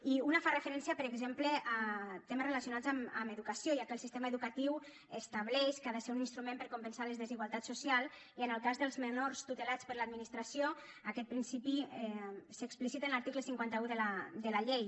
i una fa referència per exemple a temes relacionats amb educació ja que el sistema educatiu estableix que ha de ser un instrument per a compensar les desigualtats socials i en el cas dels menors tutelats per l’administració aquest principi s’explicita en l’article cinquanta un de la llei